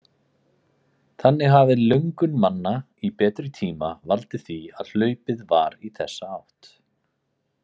Þannig hafi löngun manna í betri tíma valdið því að hlaupið var í þessa átt.